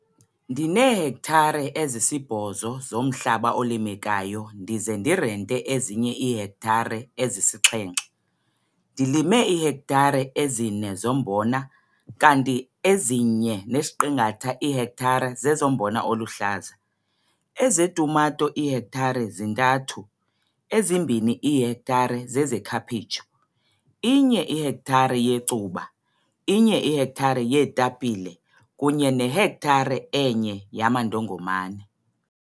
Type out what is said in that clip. Ndineehektare ezisi-8 zomhlaba olimekayo ndize ndirente ezinye iihektare ezisi-7. Ndilime iihektare ezi-4 zombona, kanti eziyi-1,5 iihektare zezombona oluhlaza, ezetumato iihektare zi-3, ezi-2 iihektare zezekhaphetshu, i-1 ihektare yecuba, i-1 ihektare yeetapile kunye nehektare e-1 yamandongomane.